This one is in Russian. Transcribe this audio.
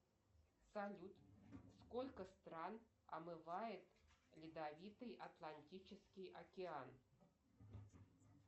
салют сколько стран омывает ледовитый атлантический океан